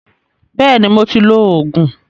Bẹ́ẹ̀ni, mo ti lo Ògùn